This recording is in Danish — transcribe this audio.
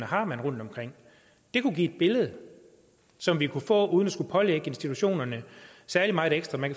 har rundtomkring det kunne give et billede som vi kunne få uden at skulle pålægge institutionerne særlig meget ekstra man